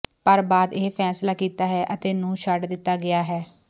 ਪਰ ਬਾਅਦ ਇਹ ਫੈਸਲਾ ਕੀਤਾ ਹੈ ਅਤੇ ਨੂੰ ਛੱਡ ਦਿੱਤਾ ਗਿਆ ਹੈ